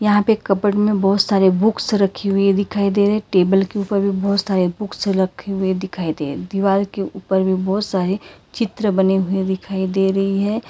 यहां पे एक कपबोर्ड में बहुत सारे बुक्स रखी हुई दिखाई दे रहे टेबल के ऊपर भी बहुत सारे बुक्स रखे हुए दिखाई दे रहे दीवार के ऊपर भी बहुत सारे चित्र बने हुए दिखाई दे रही है।